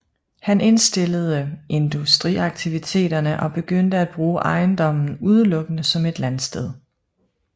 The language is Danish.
Han indstillede industriaktiviteterne og begyndte at bruge ejendommen udelukkende som et landsted